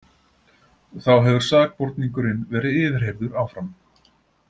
Þá hefur sakborningurinn verið yfirheyrður áfram